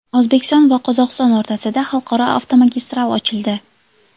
O‘zbekiston va Qozog‘iston o‘rtasida xalqaro avtomagistral ochildi.